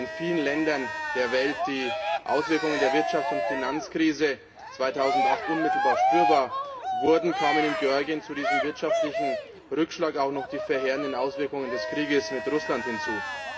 Während in vielen Ländern der Welt die Auswirkungen der Wirtschafts und Finanzkrise 2008 unmittelbar spürbar wurden, kamen in Georgien zu diesem wirtschaftlichen Rückschlag auch noch die verheerenden Auswirkungen des Kriegs mit Russland hinzu.